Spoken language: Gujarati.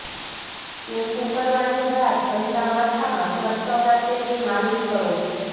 શેમ્પૂ કરવાની રાત પહેલા માથામાં સરસવના તેલની માલિશ કરો